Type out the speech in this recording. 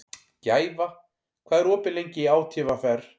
Gæfa, hvað er opið lengi í ÁTVR?